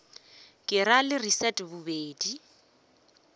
ke ra le leset bobedi